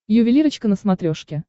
ювелирочка на смотрешке